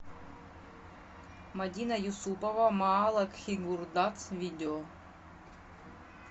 мадина юсупова ма ала кхи гур дац видео